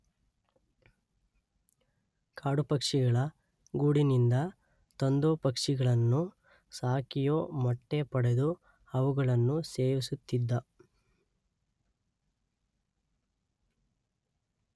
ಕಾಡುಪಕ್ಷಿಗಳ ಗೂಡಿನಿಂದ ತಂದೋ ಪಕ್ಷಿಗಳನ್ನು ಸಾಕಿಯೋ ಮೊಟ್ಟೆ ಪಡೆದು ಅವುಗಳನ್ನು ಸೇವಿಸುತ್ತಿದ್ದ.